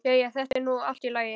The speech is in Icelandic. Jæja, þetta er nú allt í lagi.